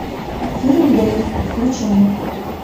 фильм дейв включи мне